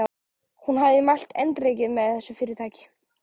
Hún hafði mælt eindregið með þessu fyrirtæki.